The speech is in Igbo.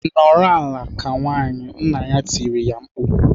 "Nọrọ ala ka nwaanyị!" Nna ya tirile ya mkpu.